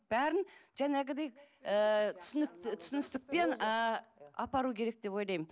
бәрін жаңағыдай ыыы түсіністікпен ы апару керек деп ойлаймын